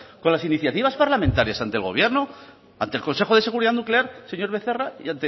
con las iniciativas parlamentarias ante el gobierno ante el consejo de seguridad nuclear señor becerra y